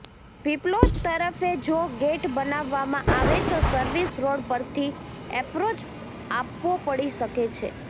પીપલોદ તરફે જો ગેટ બનાવવામાં આવે તો સર્વિસ રોડ પરથી એપ્રોચ આપવો પડી શકે છે